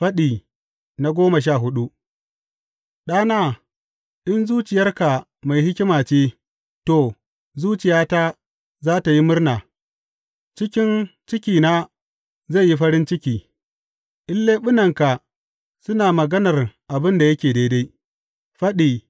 Faɗi goma sha hudu Ɗana, in zuciyarka mai hikima ce, to, zuciyata za tă yi murna; cikin cikina zai yi farin ciki in leɓunanka suna maganar abin da yake daidai.